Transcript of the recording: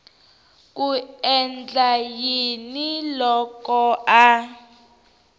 ku endla yini loko a